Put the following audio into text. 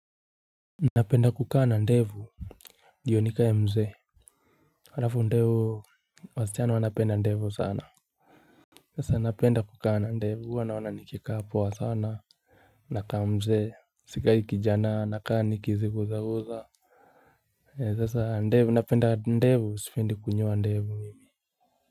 Napenda kukana ndevu ndio nikaye mze halafu ndevu wasichana wanapenda ndevu sana sasa napenda kukaa na ndevu huwa naona nikikaa poa sana. Nakaa mze sikai kijana nakaa nikizigusa gusa sasa ndevu napenda ndevu sipendi kunyoa ndevu.